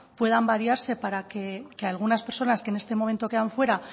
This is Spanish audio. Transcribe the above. puedan variarse para que algunas personas que en este momento quedan fuera